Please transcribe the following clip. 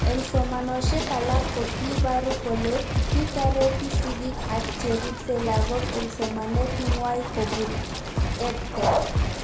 Eng' somanoshek alak ko kiiparu kole kitareti sigik ak cheripsei lakok eng' somanet ng'wai kopun EdTech